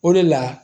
O de la